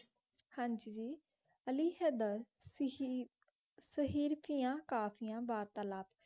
ਹਾਂਜੀ ਜੀ ਅਲੀ ਹੈਦਰ ਸੇਹੇਰ੍ਤਿਯਾਂ ਕਾਫਿਯਾਂ ਵਾਰਤਾਲਾਪ